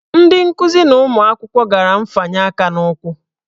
Ndị nkuzi na ụmụ akwụkwọ gara nfanye aka n'ụkwụ.